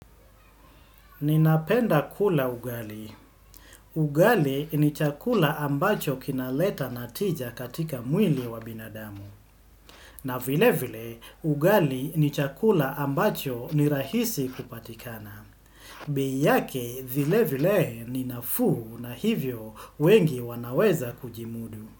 Ninapenda kula ugali. Ugali ni chakula ambacho kinaleta natija katika mwili wa binadamu. Na vile vile ugali ni chakula ambacho ni rahisi kupatikana. Bei yake vile vile ni nafuhu na hivyo wengi wanaweza kujimudu.